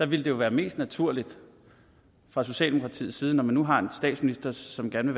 ville det jo være mest naturligt fra socialdemokratiets side når man nu har en statsminister som gerne